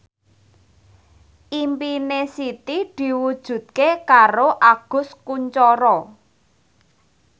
impine Siti diwujudke karo Agus Kuncoro